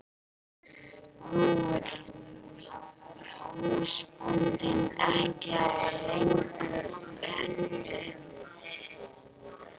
Nú vill húsbóndinn ekki hafa hann lengur í stóði.